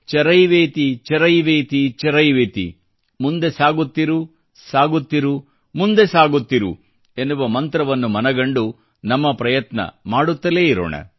ಚರೈವೇತಿ ಚರೈವೇತಿ ಚರೈವೇತಿ ಮುಂದೆ ಸಾಗುತ್ತಿರು ಸಾಗುತ್ತಿರು ಮುಂದೆ ಸಾಗುತ್ತಿರು ಎನ್ನುವ ಮಂತ್ರವನ್ನು ಮನಗಂಡು ನಮ್ಮ ಪ್ರಯತ್ನ ಮಾಡುತ್ತಲೇ ಇರೋಣ